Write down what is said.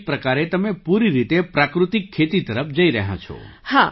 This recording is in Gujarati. તો એક પ્રકારે તમે પૂરી રીતે પ્રાકૃતિક ખેતી તરફ જઈ રહ્યાં છો